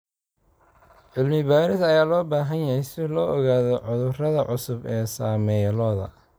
Cilmi-baaris ayaa loo baahan yahay si loo ogaado cudurrada cusub ee saameeya lo'da.